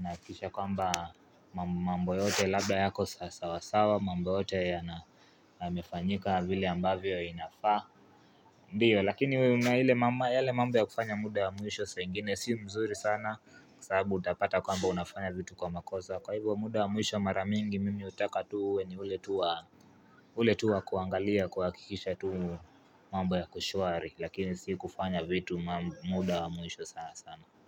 Nahakikisha kwamba mambo yote labda yako sawa sawa mambo yote ya na yamefanyika vile ambavyo inafaa Ndiyo lakini we una ile mama yale mambo ya kufanya muda ya mwisho saa ingine si mzuri sana Kwa sababu utapata kwamba unafanya vitu kwa makosa Kwa hivyo muda wa mwisho mara mingi mimi hutaka tuwe ni ule tu wa ule tu wa kuangalia kuhakikisha tu mambo yako shwari Lakini si kufanya vitu muda wa mwisho sana sana.